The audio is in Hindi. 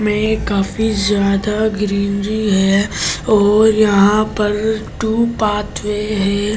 मैं काफी जादा ग्रीनरी है और यहां पर टू पाथवे है ।